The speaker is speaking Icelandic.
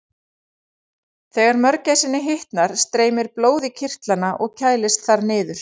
Þegar mörgæsinni hitnar streymir blóð í kirtlana og kælist þar niður.